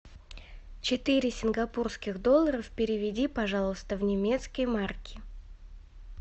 четыре сингапурских долларов переведи пожалуйста в немецкие марки